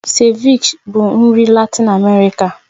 Ceviche bụ nri Latin Amerika